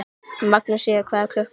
Magnúsína, hvað er klukkan?